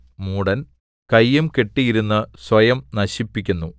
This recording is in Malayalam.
മൂഢൻ കയ്യും കെട്ടിയിരുന്ന് സ്വയം നശിപ്പിക്കുന്നു